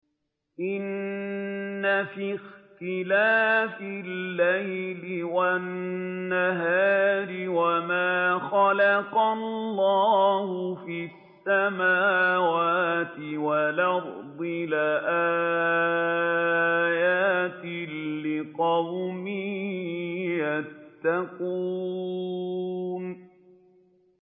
إِنَّ فِي اخْتِلَافِ اللَّيْلِ وَالنَّهَارِ وَمَا خَلَقَ اللَّهُ فِي السَّمَاوَاتِ وَالْأَرْضِ لَآيَاتٍ لِّقَوْمٍ يَتَّقُونَ